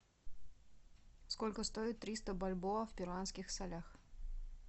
сколько стоит триста бальбоа в перуанских солях